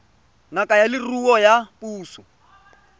ngaka ya leruo ya puso